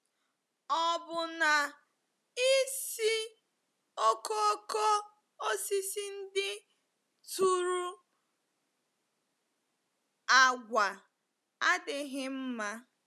Ọ̀ bụ na ísì okooko osisi ndị tụrụ àgwà adịghị mma?